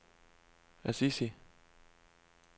Assisi